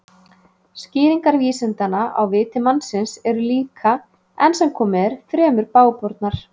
Skýringar vísindanna á viti mannsins eru líka, enn sem komið er, fremur bágbornar.